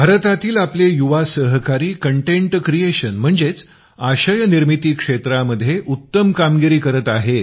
भारतातील आपले युवा सहकारी कटेंट क्रिएशन म्हणजेच आशय निर्मिती क्षेत्रामध्ये उत्तम कामगिरी करीत आहेत